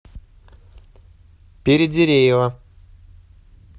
передереева